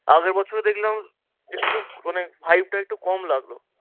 আগের বছরে দেখলাম একটু মানে vibe টা একটু কম লাগলো।